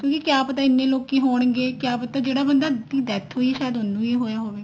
ਕਿਆ ਪਤਾ ਇੰਨੇ ਲੋਕੀ ਹੋਣਗੇ ਕਿਆ ਪਤਾ ਜਿਹੜਾ ਬੰਦਾ death ਹੋਈ ਆ ਸ਼ਾਇਦ ਉਹਨੂੰ ਵੀ ਹੋਈ ਹੋਵੇ